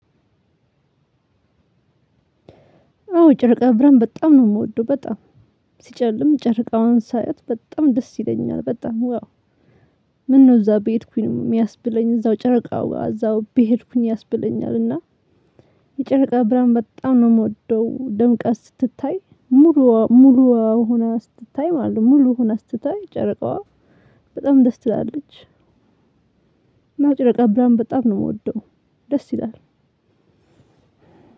አዎ ጨርቃ ብርሃን በጣም ነው የምወደው በጣም ሲጨልም ጨረቃዋን ሳያት በጣም ደስ ይለኛል። በጣም ዋው። ምነው እዛ በሄድኩኝ የሚያስብለኝ እዛው ጨረቃው እዛው በሄድኩኝ ያስብለኛልና። የጨረቃ ብርሃን በጣም ነው የምወደው ደምቃ ስትታይ። ሙሉዋ ሆና ስትታይ ማለት ነው ሙሉ ሆና ስትታይ ጨረቃዋ በጣም ደስ ትላለች። እና ጨረቃ ብርሃን በጣም ነው የምወደው። ደስ ይላል።